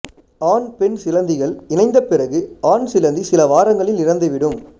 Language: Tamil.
ஆண்பெண் சிலந்திகள் இணைந்த பிறகு ஆண் சிலந்தி சில வாரங்களில் இறந்துவிடும்